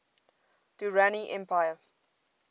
durrani empire